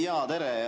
Jaa, tere!